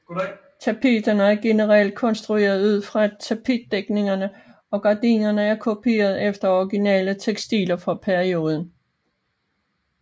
Tapeterne er generelt rekonstruerede ud fra tapetafdækninger og gardinerne er kopieret efter originale tekstiler fra perioden